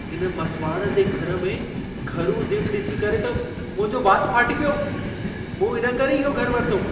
इन मसिवाड़ जे घर में घरू जिम ॾिसी करे त मुंहिंजो वातु फाटी पियो। मूं इन करे ई इहो घर वरितो।